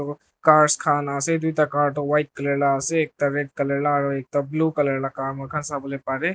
aro cars khan ase tuita car tu white color la ase ekta red color la aro ekta blue color la moikhan sabolae parae.